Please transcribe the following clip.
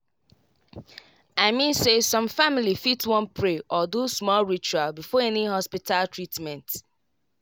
i mean say some family fit wan pray or do small ritual before any hospita treatment